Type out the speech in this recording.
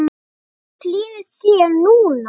Hvernig líður þér núna?